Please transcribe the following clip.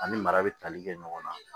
Ani mara bɛ tali kɛ ɲɔgɔn na